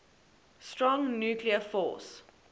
strong nuclear force